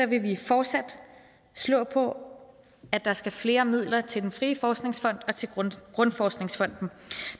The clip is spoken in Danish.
vi fortsat slå på at der skal flere midler til den frie forskningsfond og grundforskningsfonden